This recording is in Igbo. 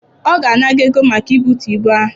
Ọ ga-ana gị ego maka ibutu ibu ahụ.